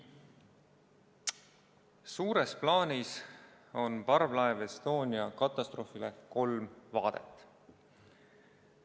Suures plaanis on parvlaeva Estonia katastroofile kolm vaadet.